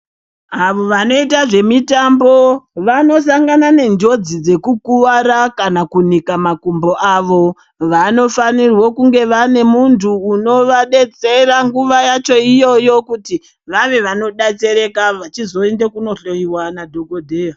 Avo vanoita zve mitambo vano sangana ne njodzi dzeku kuvara kana kunika makumbo avo vano fanirwo kunge vane muntu unova detsera nguva yacho iyoyo kuti vave vano detsereka vachi zoende kuno hloyiwa na dhokodheya.